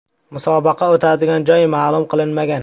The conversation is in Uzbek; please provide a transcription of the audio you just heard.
Musobaqa o‘tadigan joy ma’lum qilinmagan.